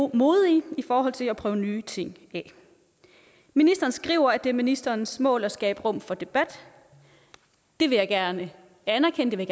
modige i forhold til at prøve nye ting af ministeren skriver at det er ministerens mål at skabe rum for debat det vil jeg gerne anerkende